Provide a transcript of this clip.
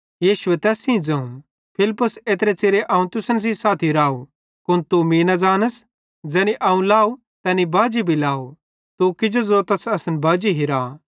यीशुए तैस सेइं ज़ोवं फिलिप्पुस एत्रे च़िरे अवं तुसन सेइं साथी राव कुन तू मीं न ज़ानस ज़ैनी अवं लाव तैनी बाजी भी लाव तू किजो ज़ोतस असन बाजी हिरा